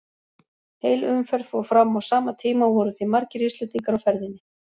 Heil umferð fór fram á sama tíma og voru því margir Íslendingar á ferðinni.